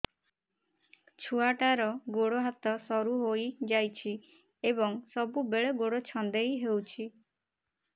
ଛୁଆଟାର ଗୋଡ଼ ହାତ ସରୁ ହୋଇଯାଇଛି ଏବଂ ସବୁବେଳେ ଗୋଡ଼ ଛଂଦେଇ ହେଉଛି